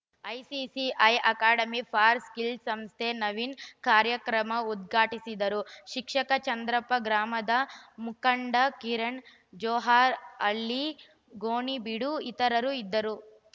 ICICI ಐ Academy for Skills ಸಂಸ್ಥೆಯ ನವೀನ್‌ ಕಾರ್ಯಕ್ರಮ ಉದ್ಘಾಟಿಸಿದರು ಶಿಕ್ಷಕ ಚಂದ್ರಪ್ಪ ಗ್ರಾಮದ ಮುಖಂಡ ಕಿರಣ್‌ ಜೋಹರ್‌ ಅಲಿ ಗೋಣಿಬೀಡು ಇತರರು ಇದ್ದರು